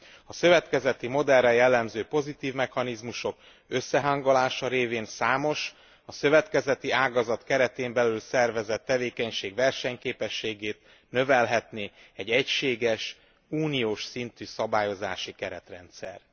A szövetkezeti modellre jellemző pozitív mechanizmusok összehangolása révén számos, a szövetkezeti ágazat keretén belül szervezett tevékenység versenyképességét növelhetné egy egységes uniós szintű szabályozási keretrendszer.